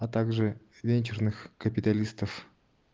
а также венчурных капиталистов